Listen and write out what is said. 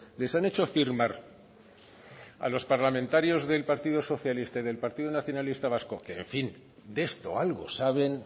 les han hecho firmar a los parlamentarios del partido socialista y del partido nacionalista vasco en fin de esto algo saben